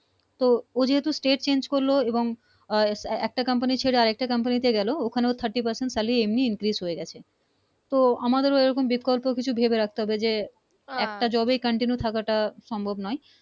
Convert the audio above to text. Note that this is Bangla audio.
তো ও যেহেতু State change করল এবং ও একটা company ছেড়ে আরেকটা company তে গেলো ওখানে Thirty percent salary এমনি Increase হয়ে গেছে তো আমাদের ওরকম বিকল্প কিছু ভেবে রাখতে হবে যে একটাই Job continue থাকাটা সম্ভব নয়